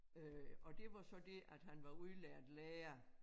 Øh og det var så det at han var udlært lærer